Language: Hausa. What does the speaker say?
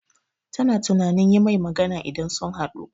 Ta na tunanin yi mai magana idan sun haɗu